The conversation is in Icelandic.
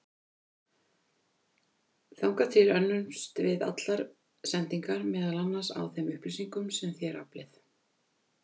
Þangað til önnumst við allar sendingar, meðal annars á þeim upplýsingum sem þér aflið.